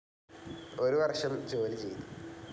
ഒരു വർഷം ജോലി ചെയ്തു.